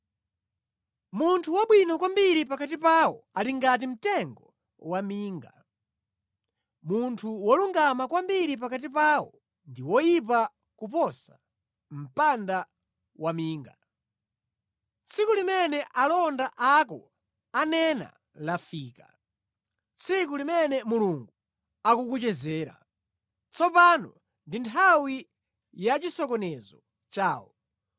Munthu wabwino kwambiri pakati pawo ali ngati mtengo waminga, munthu wolungama kwambiri pakati pawo ndi woyipa kuposa mpanda waminga. Tsiku limene alonda ako ananena lafika, tsiku limene Mulungu akukuchezera. Tsopano ndi nthawi ya chisokonezo chawo.